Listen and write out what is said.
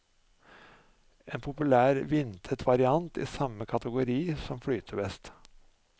En populær, vindtett variant, i samme kategori som flytevest.